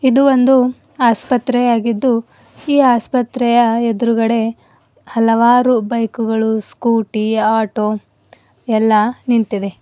ಇದು ಒಂದು ಆಸ್ಪತ್ರೆಯಾಗಿದ್ದು ಈ ಆಸ್ಪತ್ರೆಯ ಎದುರುಗಡೆ ಹಲವಾರು ಬೈಕು ಗಳು ಸ್ಕೂಟಿ ಆಟೋ ಎಲ್ಲಾ ನಿಂತಿವೆ.